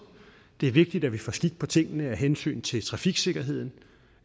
det er vigtigt at vi få skik på tingene af hensyn til trafiksikkerheden